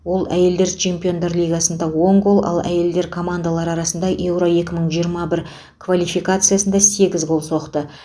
ол әйелдер чемпиондар лигасында он гол ал әйелдер командалары арасында еуро екі мың жиырма бір квалификациясында сегіз гол соқты